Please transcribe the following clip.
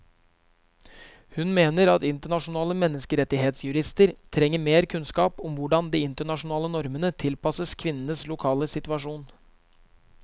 Hun mener at internasjonale menneskerettighetsjurister trenger mer kunnskap om hvordan de internasjonale normene tilpasses kvinnenes lokale situasjon.